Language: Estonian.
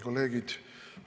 Kolleegid!